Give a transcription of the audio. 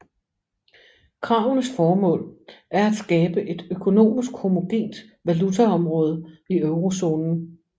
Kravenes formål er at skabe et økonomisk homogent valutaområde i eurozonen